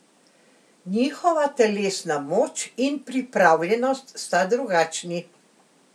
Njihova telesna moč in pripravljenost sta drugačni.